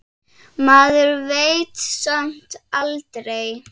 Maður veit samt aldrei.